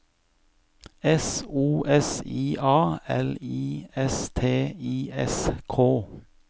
S O S I A L I S T I S K